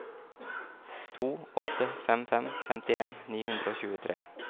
to åtte fem fem femtien ni hundre og tjuetre